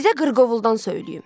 Sizə qırqovuldan söyləyim.